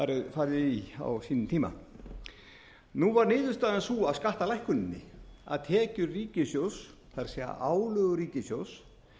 farið í á sínum tíma nú var niðurstaðan sú að skattalækkuninni að tekjur ríkissjóðs það er álögur ríkissjóðs